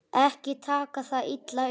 Ekki taka það illa upp.